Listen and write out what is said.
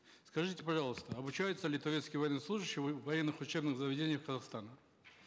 скажите пожалуйста обучаются ли турецкие военнослужащие в военных учебных заведениях казахстана